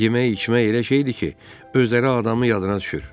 Yemək-içmək elə şeydir ki, özləri adamın yadına düşür.